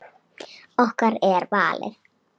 Okkar er valið.